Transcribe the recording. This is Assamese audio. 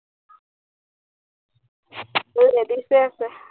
এৰ ladies য়েই আছে